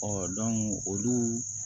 olu